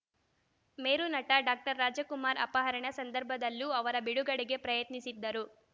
ಮೇರುನಟ doctor Rajkumar ಅಪಹರಣ ಸಂದರ್ಭದಲ್ಲೂ ಅವರ ಬಿಡುಗಡೆಗೆ ಪ್ರಯತ್ನಿಸಿದ್ದರು